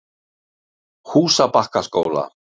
Húsabakkaskóla